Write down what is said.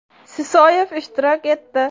Sisoyev ishtirok etdi.